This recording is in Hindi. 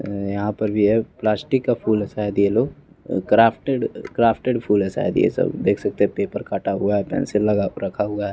अअअ यहाँ पर भी है प्लास्टिक का फूल है शायद यह लोग अ क्राफ्टेड क्राफ्टेड फूल है शायद यह सब देख सकते हैं पेपर काटा हुआ है पेंसिल लगा क रखा हुआ है।